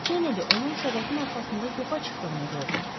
Kennedy onun səbətin arxasında yoxa çıxdığını gördü.